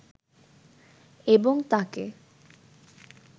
এবং তাকে